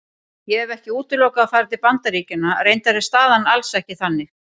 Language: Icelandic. Ég hef ekki útilokað að fara til Bandaríkjanna, reyndar er staðan alls ekki þannig.